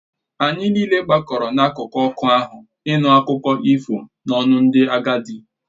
Anyị niile gbakọrọ n’akụkụ ọkụ ahụ ịnụ akụkọ ifo n’ọnụ ndị agadi